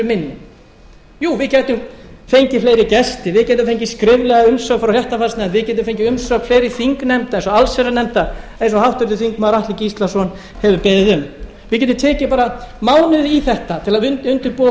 fyrir minni jú við gætum fengið fleiri gesti við gætum fengið skriflega umsögn frá réttarfarsnefnd við gætum fengið umsögn fleiri þingnefnda eins og allsherjarnefndar eins og háttvirtir þingmenn atli gíslason hefur beðið um við getum tekið bara mánuð í þetta til að undirbúa